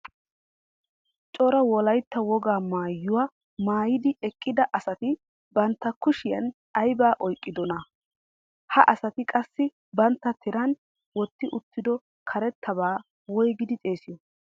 Cora wolaytta wogaa maayuwa maayidi eqqida asati bantta kushiyan aybaa oyqqiddonaa? Ha asati qassi bantta tiran wotti uttiddo karettabaa woygidi xeesiyo?